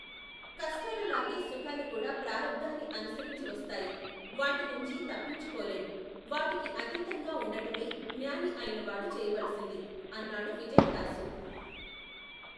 కష్టాలలాగె సుఖాలుకూడా ప్రారబ్ధాన్ని అనుసరించి వస్తాయి. వాటినుంచి తప్పించుకోలెం. వాటికి అతీతంగాఉండటమే జ్ఞాని అయినవాడు చేయవలిసింది! అన్నాడు విజయదాసు.